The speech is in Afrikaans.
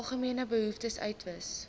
algemene behoeftes uitwys